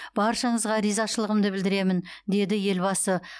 баршаңызға ризашылығымды білдіремін деді елбасы